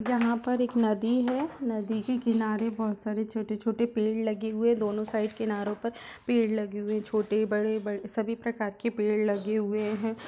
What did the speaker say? यहाँ पर एक नदी हैं नदी के के किनारे बहोत सारे छोटे-छोटे पेड़ लगे हुए दोनों साइड किनारो पर पेड़ लगे हुए है छोटे बड़े बड़ सभी प्रकार के पेड़ लगे हुए है।